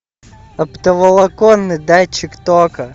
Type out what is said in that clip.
оптоволоконный датчик тока